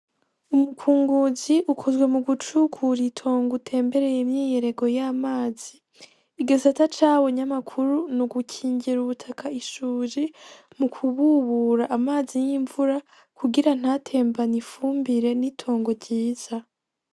Umukunguzi ukuntu mu gucukur'itongo utembeye imyiyerego y'amazi . Igisata cawo nyamukuru n'ugukingira ubutaka ishuji mu kububura amazi y'imvura kugira ntatembany'ifumbire n'itongo ryiza.